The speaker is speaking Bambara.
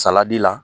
Saladi la